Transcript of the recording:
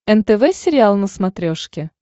нтв сериал на смотрешке